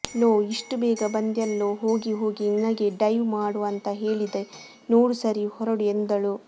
low ಇಷ್ಟು ಬೇಗ ಬಂದ್ಯಾಲ್ಲೋ ಹೋಗಿ ಹೋಗಿ ನಿನಗೆ ಡೈವ್ ಮಾಡು ಅಂತ ಹೇಳಿದೆ ನೋಡು ಸರಿ ಹೊರಡು ಎಂದಳು